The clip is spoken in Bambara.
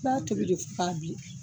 I b'a tobi de fo k'a bilen.